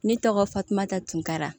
Ne tɔgɔ fatumata tunkara